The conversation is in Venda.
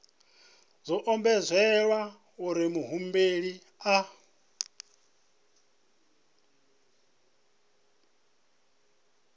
zwo ombedzelwa uri muhumbeli a